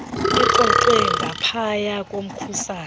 lixoxwe ngaphaya komkhusane